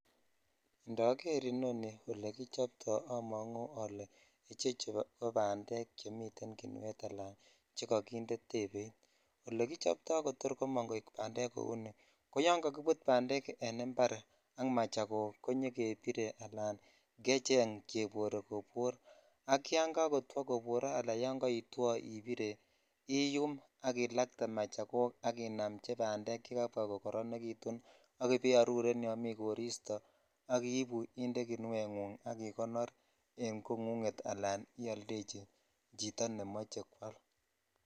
Indoger inoni ole kichobto amongu ole ichechu ko bandek chemiten kinuet ala chekokinde tebeit ole kichobto kotor komong koik bandek kou nii ko kibut dmbandek en impar ak machakok konyofebire alan kecheng cheboree kebor sk yan jakotwokobore ala yan kaitwo impire in ak ilatee machado ak iyum bandek ak ibaiaruren yomitem koristo ak ibu inde kinuet kinuengung ak igonor en kongunget sla ildechi chito nemoche kwal.